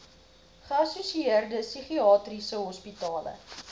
geassosieerde psigiatriese hospitale